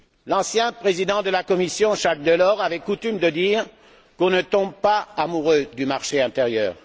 L'ancien président de la Commission, Jacques Delors, avait coutume de dire qu'on ne tombe pas amoureux du marché intérieur.